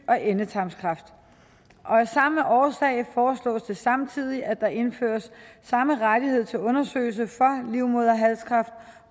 og endetarmskræft af samme årsag foreslås det samtidig at der indføres samme rettighed til undersøgelse for livmoderhalskræft